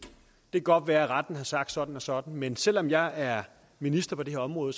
det kan godt være at retten har sagt sådan og sådan men selv om jeg er minister på det her område